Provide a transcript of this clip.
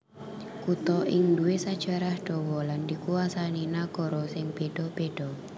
Kutha iki nduwé sajarah dawa lan dikuwasani nagara sing béda béda